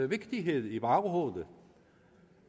vigtighed i baghovedet